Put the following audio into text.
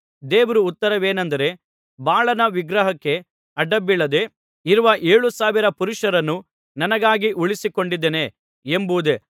ದೇವರ ಉತ್ತರವೇನೆಂದರೆ ಬಾಳನ ವಿಗ್ರಹಕ್ಕೆ ಅಡ್ಡಬೀಳದೆ ಇರುವ ಏಳುಸಾವಿರ ಪುರುಷರನ್ನು ನನಗಾಗಿ ಉಳಿಸಿಕೊಂಡಿದ್ದೇನೆ ಎಂಬುದೇ